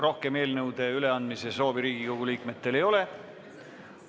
Rohkem eelnõude üleandmise soovi Riigikogu liikmetel ei ole.